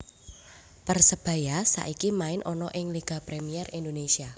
Persebaya saiki main ana ing Liga Premier Indonesia